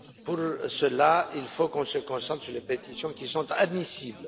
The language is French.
Pour cela, il faut qu'on se concentre sur les pétitions qui sont admissibles.